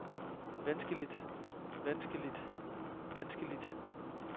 vanskeligt vanskeligt vanskeligt